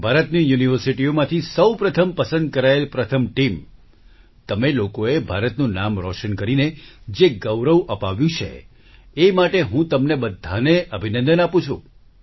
હું ભારતની યુનિવર્સિટીઓમાંથી સૌપ્રથમ પસંદ કરાયેલ પ્રથમ ટીમ તમે લોકોએ ભારતનું નામ રોશન કરીને જે ગૌરવ અપાવ્યું છે એ માટે હું તમને બધાને અભિનંદન આપું છું